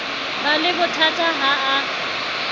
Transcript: ba le bothata ha a